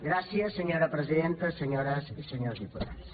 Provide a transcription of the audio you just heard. gràcies senyora presidenta senyores i senyors diputats